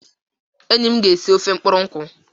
Enyi m ga esi ofe mkpụrụ nkwu.